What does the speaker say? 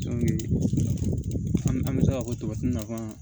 an bɛ se ka fɔ tɔ nafaa